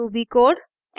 ruby code